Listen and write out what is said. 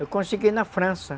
Eu consegui na França.